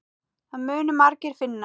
Það munu margir finna.